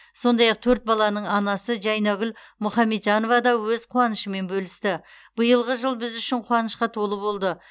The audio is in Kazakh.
сондай ақ төрт баланың анасы жайнагүл мұхаметжанова да өз қуанышымен бөлісті биылғы жыл біз үшін қуанышқа толы болды